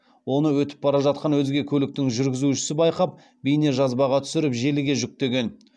оны өтіп бара жатқан өзге көліктің жүргізушісі байқап бейнежазбаға түсіріп желіге жүктеген